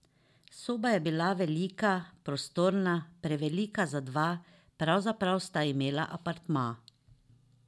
Soba je bila velika, prostorna, prevelika za dva, pravzaprav sta imela apartma.